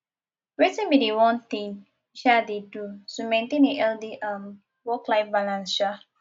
wetin be di one thing you um dey do to maintain a healthy um worklife balance um